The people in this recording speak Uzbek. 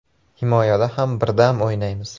Himoyada ham birdam o‘ynaymiz.